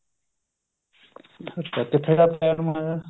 ਅੱਛਾ ਕਿਥੇ